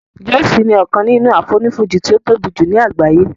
Jọ́òsì ni ọkàn nínú àfonífojì tí ó tóbi jù ní àgbáyé